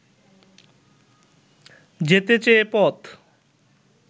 যেতে চেয়ে পথ